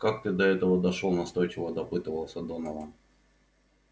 как ты до этого дошёл настойчиво допытывался донован